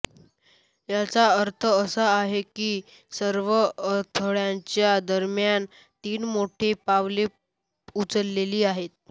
याचा अर्थ असा आहे की सर्व अडथळ्यांच्या दरम्यान तीन मोठी पावले उचलली आहेत